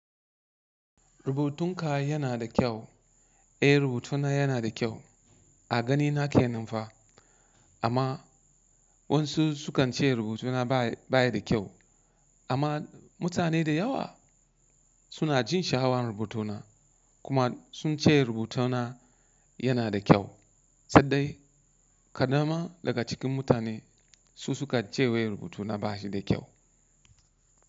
Rubutunka yana da kyau. Eh rubutuna yana da kyau a ganina kenan fa. Amma wasu sukan ce rubutuna ba ya da kyau amma mutane da yawa suna jin sha'awan rubutuna kuma sun ce rubutana yana da kyau. Saɗai kaɗan ma daga cikin mutane su suka ce wai rubutuna ba shi da kyau.